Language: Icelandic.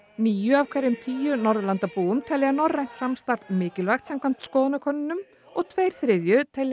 níu af hverjum tíu Norðurlandabúum telja norrænt samstarf mikilvægt samkvæmt skoðanakönnunum og tveir þriðju telja